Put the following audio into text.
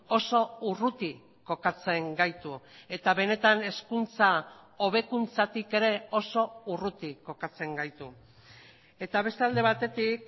oso urruti kokatzen gaitu eta benetan hezkuntza hobekuntzatik ere oso urruti kokatzen gaitu eta beste alde batetik